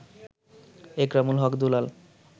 Ekramul Haque Dulal